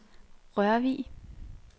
Rørvig